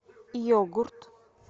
йогурт